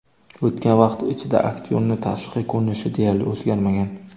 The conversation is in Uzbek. O‘tgan vaqt ichida aktyorning tashqi ko‘rinishi deyarli o‘zgarmagan.